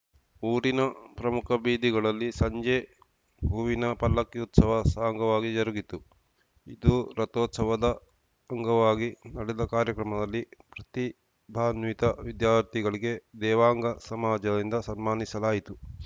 ಊರಿನ ಪ್ರಮುಖ ಬೀದಿಗಳಲ್ಲಿ ಸಂಜೆ ಹೂವಿನ ಪಲ್ಲಕ್ಕಿ ಉತ್ಸವ ಸಾಂಗವಾಗಿ ಜರುಗಿತು ಇದು ರಥೋತ್ಸವದ ಅಂಗವಾಗಿ ನಡೆದ ಕಾರ್ಯಕ್ರಮದಲ್ಲಿ ಪ್ರತಿಭಾನ್ವಿತ ವಿದ್ಯಾರ್ಥಿಗಳಿಗೆ ದೇವಾಂಗ ಸಮಾಜದಿಂದ ಸನ್ಮಾನಿಸಲಾಯಿತು